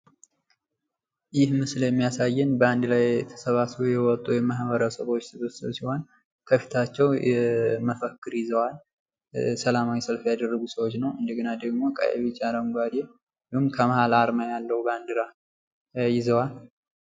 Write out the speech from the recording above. ይህ ምስል የሚያሳየው በአንድ ላይ ተሰባስበው የወጡ ማህበረሰቦችን ሲሆን፤ መፈክርና ባንዲራ ይዘዋል።